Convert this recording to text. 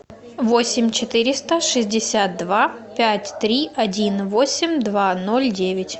восемь четыреста шестьдесят два пять три один восемь два ноль девять